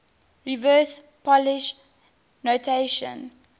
reverse polish notation